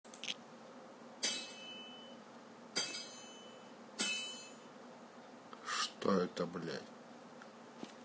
что это блядь